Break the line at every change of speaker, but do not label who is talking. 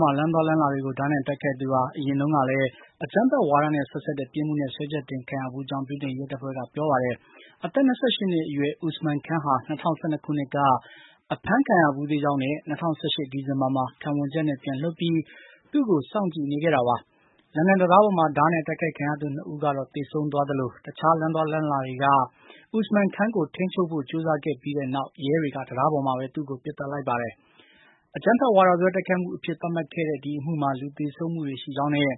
မှာ လမ်းသွားလမ်းလာတွေကို ဓားနဲ့တိုက်ခိုက်သူဟာ အရင်တုန်းကလည်း အကြမ်းဖက်ဝါဒနဲ့ ဆက်စပ်တဲ့ပြစ်မှုနဲ့ စွဲချက်တင်ခံရဘူးကြောင်း ဗြိတိန်ရဲတပ်ဖွဲ့က ပြောပါတယ်။ အသက် ၂၈ နှစ်အရွယ် Usman Khan ဟာ ၂၀၁၂ ခုနှစ်က အဖမ်းခံရဘူးသေးကြောင်းနဲ့ ၂၀၁၈ ဒီဇင်ဘာမှာ ခံဝန်ချက်နဲ့ ပြန်လွှတ်ပြီး သူ့ကို စောင့်ကြည့်နေခဲ့တာပါ။ လန်ဒန်တံတားပေါ်မှာ ဓားနဲ့တိုက်ခိုက်ခံရသူ ၂ ဦးကတော့ သေဆုံးသွားသလို တခြားလမ်းသွားလမ်းလာတွေက Usman Khan ကို ထိန်းချုပ်ဖို့ ကြိုးစားခဲ့ပြီးတဲ့နောက် ရဲတွေက တံတားပေါ်မှာပဲ သူ့ကို ပစ်သတ်လိုက်ပါတယ်။ အကြမ်းဖက်ဝါဒစွဲ တိုက်ခိုက်မှုအဖြစ် သတ်မှတ်ခဲ့တဲ့ ဒီအမှုမှာ လူသေဆုံးမှုတွေ ရှိကြောင်းနဲ့